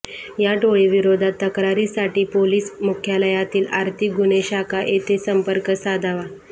या टोळीविरोधात तक्रारीसाठी पोलिस मुख्यालयातील आर्थिक गुन्हे शाखा येथे संपर्क साधावा